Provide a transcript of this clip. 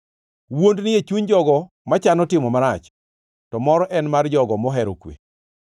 Wuond ni e chuny jogo machano timo marach, to mor en mar jogo mohero kwe.